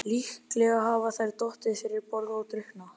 Líklega hafa þær dottið fyrir borð og drukknað.